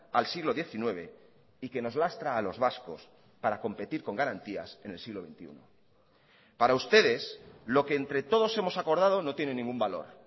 al siglo diecinueve y que nos lastra a los vascos para competir con garantías en el siglo veintiuno para ustedes lo que entre todos hemos acordado no tiene ningún valor